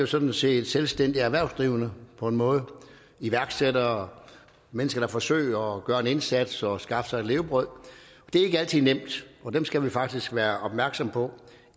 sådan set er selvstændigt erhvervsdrivende på en måde iværksættere mennesker der forsøger at gøre en indsats og skaffe sig et levebrød det er ikke altid nemt og dem skal vi faktisk være opmærksom på